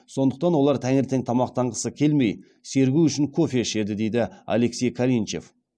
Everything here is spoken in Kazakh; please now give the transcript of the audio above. сондықтан олар таңертең тамақтанғысы келмей сергу үшін кофе ішеді деді алексей калинчев